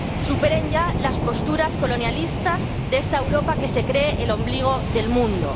Superen ya las posturas colonialistas de esta Europa que se cree el ombligo del mundo.